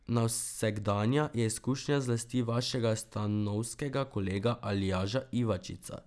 Nevsakdanja je izkušnja zlasti vašega stanovskega kolega Aljaža Ivačiča.